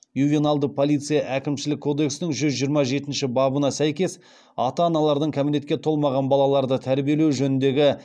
ювеналды полиция әкімшілік кодекстің жүз жиырма жетінші бабына сәйкес ата аналардың кәмелетке толмаған балаларды тәрбиелеу жөніндегі